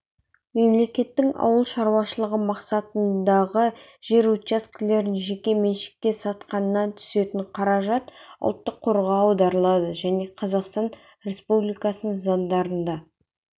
мемлекеттің ауыл шаруашылығы мақсатындағы жер учаскелерін жеке меншікке сатқаннан түсетін қаражат ұлттық қорға аударылады және қазақстан республикасының заңдарында